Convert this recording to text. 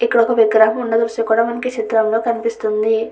ఇక్కడ ఒక విగ్రహం ఉన్నట్లుగా మనకి ఈ చిత్రం లో కనిపిస్తుంది.